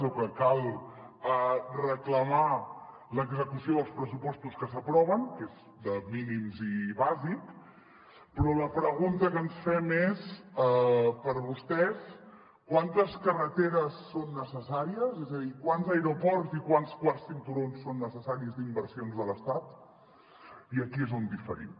o que cal reclamar l’execució dels pressupostos que s’aproven que és de mínims i bàsic però la pregunta que ens fem és per vostès quantes carreteres són necessàries és a dir quants aeroports i quants quarts cinturons són necessaris d’inversions de l’estat i aquí és on diferim